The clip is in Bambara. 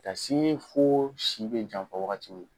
Ka sini fo si bɛ janfa waagati min.